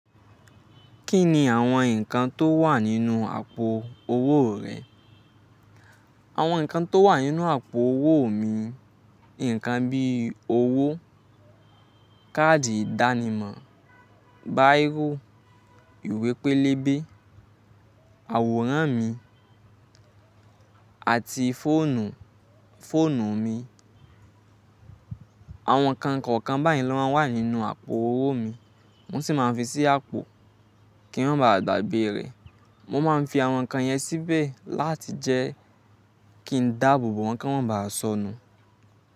Kí ni àwọn nǹkan tó wà nínú àpò owó rẹ? Àwọn nǹkan tó wà nínú àpò owó mi, nǹkan bí owó, káàdì ìdánimọ̀ báńkì, ìwé pélébé, àwòrán mi àti fóònù, fóònù mi. Àwọn nǹkan kọ̀ọ̀kan báyìí ló máa ń wà nínú àpò owó mi. Mo sì máa ń fi sí àpò kí wọ́n má bà gba gbe re. Mo má ń fi àwọn nǹkan yẹn síbè láti jẹ́ kí n dàbò bo wọ́n kí wọ́n má bà sọnù.